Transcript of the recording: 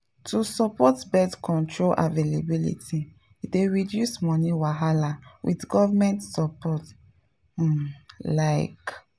to support birth control availability dey reduce money wahala with government support pause like.